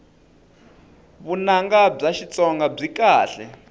vunanga bya xitsonga byi kahle